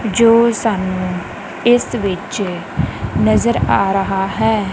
ਜੋ ਸਾਨੂੰ ਇਸ ਵਿੱਚ ਨਜ਼ਰ ਆ ਰਹਾ ਹੈ।